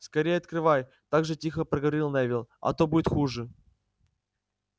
скорее открывай так же тихо проговорил невилл а то будет хуже